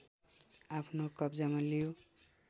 आफ्नो कब्जामा लियो